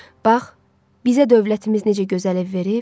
Bax, bizə dövlətimiz necə gözəl ev verib.